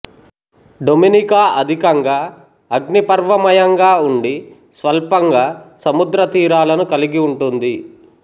Dominica అధికంగా అగ్నిపర్వమయంగా ఉండి స్వల్పంగా సముద్రతీరాలను కలిగి ఉంటుంది